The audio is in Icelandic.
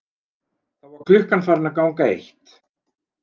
Þá var klukkan farin að ganga eitt.